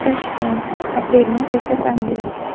Toshkent, aprelning erta tongi.